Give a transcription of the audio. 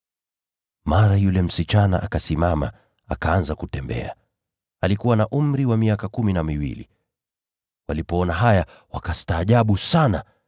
Mara yule msichana akasimama, akaanza kutembea (alikuwa na umri wa miaka kumi na miwili). Walipoona haya, wakastaajabu sana.